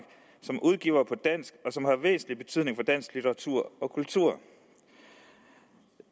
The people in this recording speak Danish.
som udgiver på dansk og som har væsentlig betydning for dansk litteratur og kultur